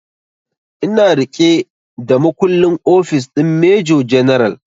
Ina riƙe da makullin ofis din major general